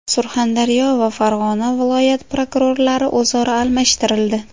Surxondaryo va Farg‘ona viloyat prokurorlari o‘zaro almashtirildi.